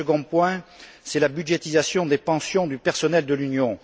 Le second point, c'est la budgétisation des pensions du personnel de l'Union.